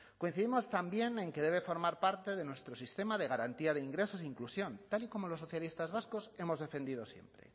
coincidimos también en que debe formar parte de nuestro sistema de garantía de ingresos e inclusión tal y como los socialistas vascos hemos defendido siempre